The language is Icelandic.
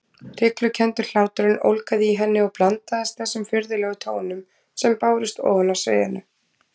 Hryglukenndur hláturinn ólgaði í henni og blandaðist þessum furðulegum tónum sem bárust ofan af sviðinu.